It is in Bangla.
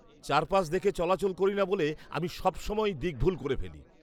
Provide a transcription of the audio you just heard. চারপাশ দেখে চলাচল করি না বলে আমি সবসময়ই দিক ভুল করে ফেলি।